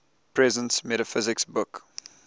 presence metaphysics book